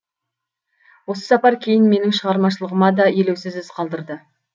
осы сапар кейін менің шығармашылығыма да елеусіз із қалдырды